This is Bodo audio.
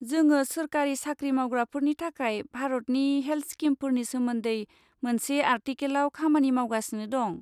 जोङो सोरखारि साख्रि मावग्राफोरनि थाखाय भारतनि हेल्ट स्किमफोरनि सोमोन्दै मोनसे आर्टिकेलआव खामानि मावगासिनो दं।